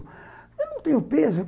Eu não tenho peso.